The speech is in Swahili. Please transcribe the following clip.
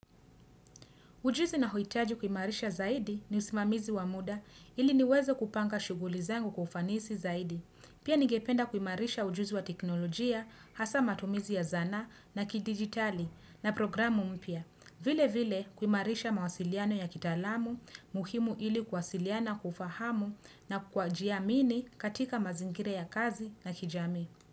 Ujuzi naohitaji kuimarisha zaidi ni usimamizi wa muda ili niweze kupanga shughuli zangu kwa ufanisi zaidi. Pia ningependa kuimarisha ujuzi wa teknolojia, hasa matumizi ya zana na kidigitali na programu mpya. Vile vile kuimarisha mawasiliano ya kitaalamu, muhimu ili kuwasiliana kwa ufahamu na kwajiamini katika mazingira ya kazi na kijamii.